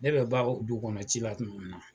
Ne bɛ ban o dugu kɔnɔ ci la kuma min na